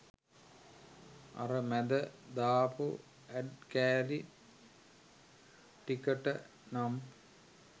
අර මැද දාපු ඇඩ් කෑලි ටිකට නම්